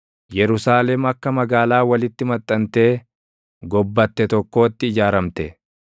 Yerusaalem akka magaalaa walitti maxxantee gobbatte tokkootti ijaaramte.